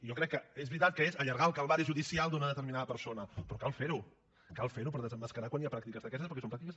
i jo crec que és veritat que és allargar el calvari judicial d’una determinada persona però cal fer ho cal fer ho per desemmascarar quan hi ha pràctiques d’aquestes perquè són pràctiques